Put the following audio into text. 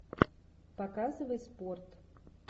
показывай спорт